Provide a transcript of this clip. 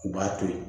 U b'a to yen